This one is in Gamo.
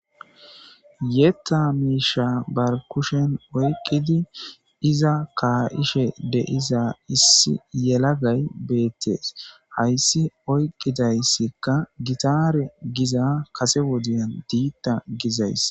yetta miisha bar kushen oyqqidi iza kaa7ishe deiza issi yelagay beettes hayssi oyqqidayssikka gitaare giza kase wodiyan diitta gizays